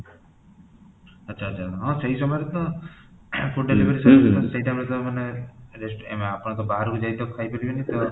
ଆଚ୍ଛା, ଆଚ୍ଛା ସେଇ ସମୟରେ ତfood delivery service ସେଇ ସମୟରେ ତ ମାନେ ଆପଣ ବାହାରକୁ ଖାଇ ଯାଇପାରିବନି ଆପଣ ଅଭରକୁ ଯାଇ ତା ଆଉ ଖାଇ ପାରିବେନି